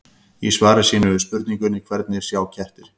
Í svari sínu við spurningunni Hvernig sjá kettir?